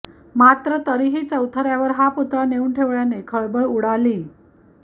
मात्र तरीही चौथऱ्यावर हा पुतळा नेऊन ठेवल्याने खळबळ उडालीय